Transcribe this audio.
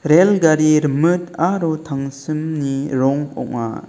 rel gari rimit aro tangsimni rong ong·a.